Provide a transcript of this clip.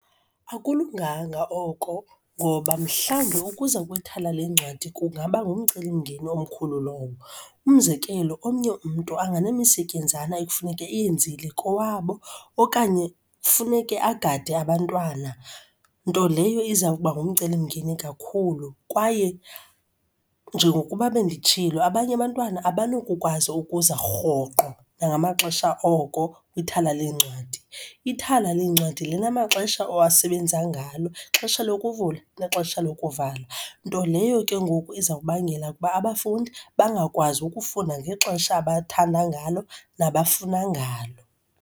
Akulunganga oko ngoba mhlawumbe ukuza kwithala lencwadi kungaba ngumcelimngeni omkhulu lowo. Umzekelo, omnye umntu anganemisetyenzana ekufuneka eyenzile kowabo okanye funeke agade abantwana, nto leyo iza kuba ngumcelimngeni kakhulu kwaye njengokuba benditshilo, abanye abantwana abanokukwazi ukuza rhoqo nangamaxesha oko kwithala leencwadi. Ithala leencwadi linamaxesha owasebenzisa ngalo, ixesha lokuvula nexesha lokuvala, nto leyo ke ngoku iza kubangela uba abafundi bangakwazi ukufunda ngexesha abathanda ngalo nabafuna ngalo.